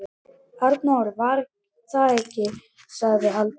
Arnór var þar ekki, sagði Halldór.